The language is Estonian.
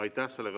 Aitäh!